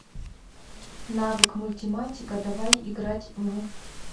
навык мультиматика давай играть в